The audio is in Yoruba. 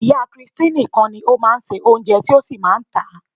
Ìyá christy nìkan ni ó máa ń se Oúnjẹ tí ó sì máa ń tà á.